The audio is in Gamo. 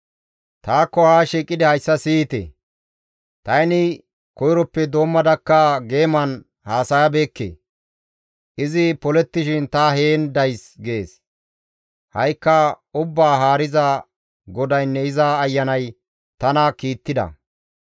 «Taakko haa shiiqidi hayssa siyite; tani koyroppe doommadakka geeman haasayabeekke; izi polettishin ta heen days» gees. Ha7ikka Ubbaa Haariza GODAYNNE iza Ayanay tana kiittida.